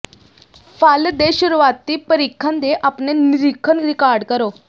ਫ਼ਲ ਦੇ ਸ਼ੁਰੂਆਤੀ ਪਰੀਖਣ ਦੇ ਆਪਣੇ ਨਿਰੀਖਣ ਰਿਕਾਰਡ ਕਰੋ